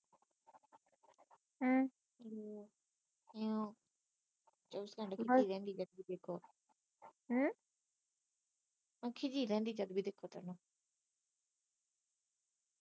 ਹਮ ਮੈ ਕਿਹਾ ਖਿਜੀ ਰਹਿੰਦੀ ਜਦ ਵੀ ਦੇਖੋ